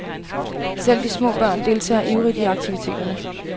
Selv de små børn deltager ivrigt i aktiviteterne.